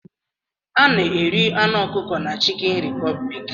A na-eri anụ ọkụkọ na chicken republic